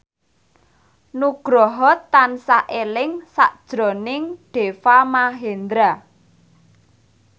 Nugroho tansah eling sakjroning Deva Mahendra